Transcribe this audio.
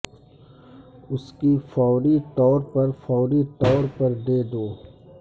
اس کی فوری طور پر فوری طور پر دے دو